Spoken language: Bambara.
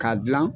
K'a dilan